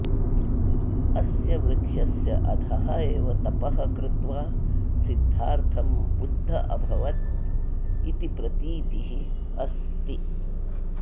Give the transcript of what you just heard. अस्य वृक्षस्य अधः एव तपः कृत्वा सिद्धार्थं बुद्ध अभवत् इति प्रतीतिः अस्ति